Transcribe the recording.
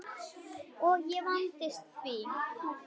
Og ég vandist því.